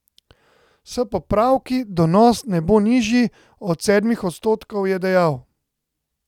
S popravki donos ne bo nižji od sedmih odstotkov, je dejal.